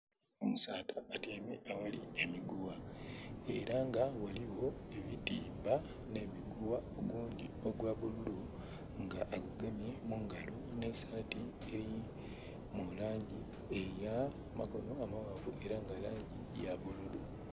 Omusaadha atyeime aghali emigugha era nga ghaligho ebitimba nhe migugha ogundhi ogwa bululu nga gugemye mungalo nhe sati eri mulangi eya makonho amaghanvu era nga langi yabululu.